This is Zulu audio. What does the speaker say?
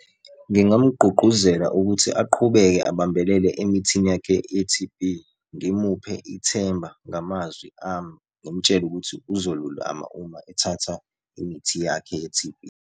Ngingamgqugquzela ukuthi aqhubeke ubambelele emithini yakhe ye-T_B. Ngimuphe ithemba ngamazwi ami, ngimtshele ukuthi uzoluluma uma ethatha imithi yakhe ye-T_B.